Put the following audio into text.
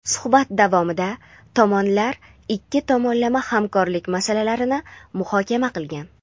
Suhbat davomida tomonlar ikki tomonlama hamkorlik masalalarini muhokama qilgan.